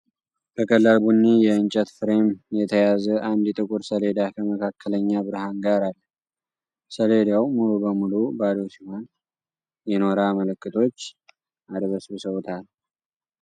በቀላል ቡኒ የእንጨት ፍሬም የተያዘ አንድ ጥቁር ሰሌዳ ከመካከለኛ ብርሃን ጋር አለ። ሰሌዳው ሙሉ በሙሉ ባዶ ሲሆን፣ የኖራ ምልክቶች አድበስብሰውታል።